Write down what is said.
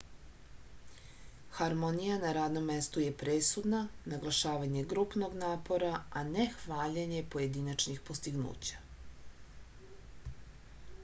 harmonija na radnom mestu je presudna naglašavanje grupnog napora a ne hvaljenje pojedinačnih postignuća